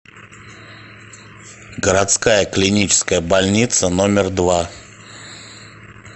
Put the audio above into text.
городская клиническая больница номер два